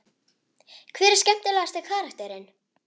Hver er skemmtilegasti karakterinn?